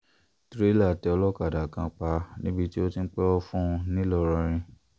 trailer tẹ olókàdá kan pa níbi tó ti ń pẹ̀wọ̀ fún un ńlọrọrìn